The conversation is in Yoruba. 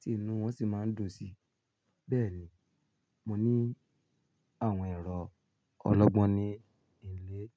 tí inú wọn sì máa dùn sí. Bẹ́ẹ̀ni, mo ní àwọn ẹ̀rọ ọlọ́gbọ́n ní ilé.